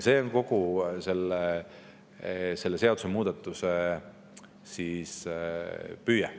See on kogu selle seadusemuudatuse püüe.